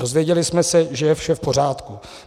Dozvěděli jsme se, že je vše v pořádku.